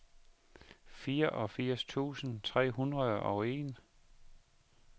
fireogfirs tusind tre hundrede og en